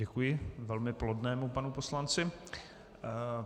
Děkuji velmi plodnému panu poslanci.